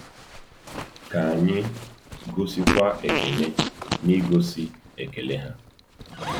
Ka anyị gosikwa Ekene n’igosi ekele ha.